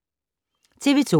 TV 2